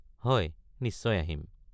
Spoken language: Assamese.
হয়, নিশ্চয় আহিম।